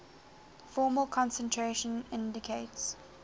formal concentration indicates